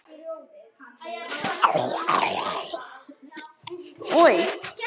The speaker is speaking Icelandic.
Þau fóru í þurr föt.